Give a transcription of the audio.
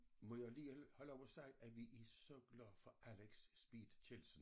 Må jeg lige have lov at sige at vi er så glade for Alex Speed Kjeldsen